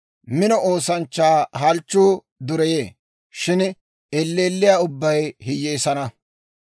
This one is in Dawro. Mino oosanchchaa halchchuu dureyee; shin elleelliyaa ubbay hiyyeessana.